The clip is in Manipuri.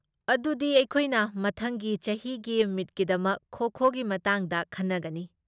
ꯑꯗꯨꯗꯤ ꯑꯩꯈꯣꯏꯅ ꯃꯊꯪꯒꯤ ꯆꯍꯤꯒꯤ ꯃꯤꯠꯀꯤꯗꯃꯛ ꯈꯣ ꯈꯣꯒꯤ ꯃꯇꯥꯡꯗ ꯈꯟꯅꯒꯅꯤ꯫